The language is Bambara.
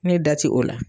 Ne da ti o la